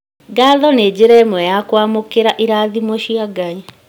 Ngatho nĩ njĩra ĩmwe ya kwamũkĩra irathimo cia Ngai